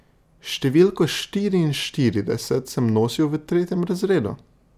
Številko štiriinštirideset sem nosil v tretjem razredu!